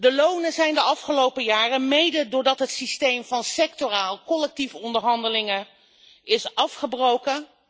De lonen zijn de afgelopen jaren soms wel gehalveerd, mede doordat het systeem van sectorale collectieve onderhandelingen is afgebroken.